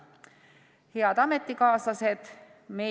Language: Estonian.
Head ametikaaslased!